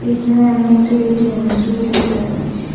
এখানে আমি একটি এটিএমের ছবি দেখতে পাচ্ছি।